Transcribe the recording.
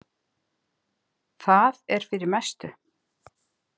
Það er fyrir mestu.